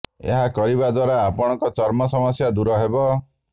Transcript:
ଏହା କରିବା ଦ୍ବାରା ଆପଣଙ୍କ ଚର୍ମ ସମସ୍ୟା ଦୂର ହେବ